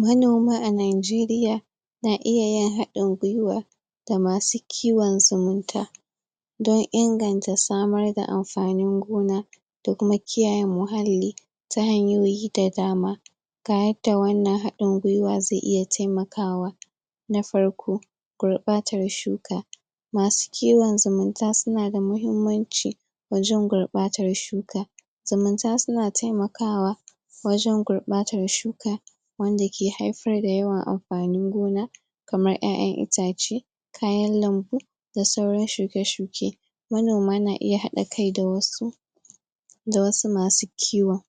manoma a najeriya na iya yin haɗin gwiwa da masu kiwon zumunta don inganta samar da amfanin gona da kuma kiyaye muhalli ta hanyoyi da dama ga yadda wannan haɗin gwiwa zai iya taimakawa na farko gurɓatar shuka masu kiwon zumunta sunada muhimmanci wajen guɓatar shuka zumunta suna taimakawa wajen gurɓatar shuka wanda ke haifar da yawan anfanin gona kamar ƴaƴan itace kayan lambu da sauran shuke-shuke manoma n iya haɗa kai da wasu da wasu masu kiwon.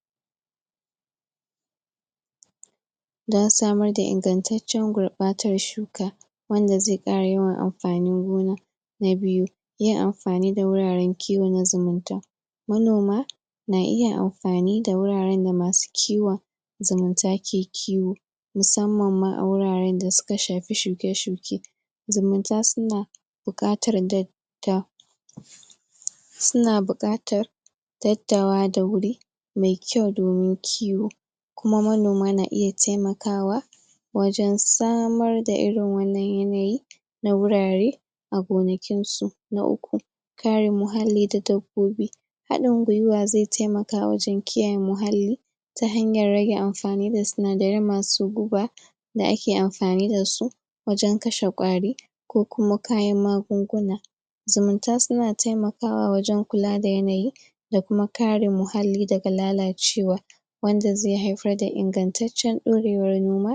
don samar da ingantaccen gurɓatar shuka wanda zai ƙara yawan amfanin gona na biyu yin amfani da wuraren kiwon zumunta manoma na iya amfani da wuraren da masu kiwon zumunta ke kiwo musamman ma a wuraren da suka shafi shuke-shuke zumunta suna buƙatar dadda suna buƙatar tattawa da wuri mai kyau domin kiwo kuma manoma na iya taimakawa wajen samar da irin wannan yanayi na wurare a gonakin su. na uku kare muhalli da dabbobi haɗin gwiwa zai taimaka wajen kiyaye muhallin ta hanyar rage amfani da sinadarai masu guba da ake amfani dasu wajen kashe ƙwari ko kuma kayan magunguna. zumunta suna taimakawa wajen kula da yanayi da kuma kare muhalli daga lalacewa wanda zai haifar da ingantaccen ɗorewar noma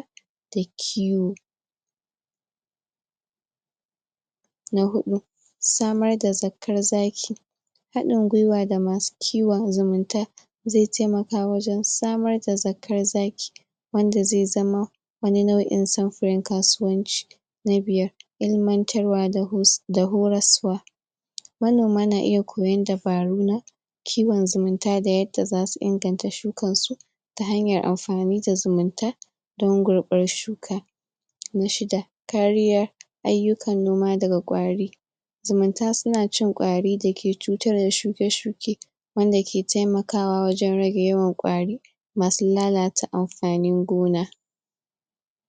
da kiwo. na huɗu samar da zakkar zaki haɗin gwiwa da masu kiwon zumunta zai taimaka wajen samar da zakkan zaki wanda zai zamo wani nau'in samfarin kasuwanci. na biyar ilmantarwa da horaswa manoma na iya koyan dabaru na kiwon zumunta da yadda zasu inganta shukar su ta hanyar amfani da zumunta don gurɓar shuka na shida kariya ayyukan noma daga ƙwari zumunta suna cin ƙwari dake cutar da shuke-shuke wanda ke taimakawa wajen rage yawan ƙwari masu lalata amfanin gona.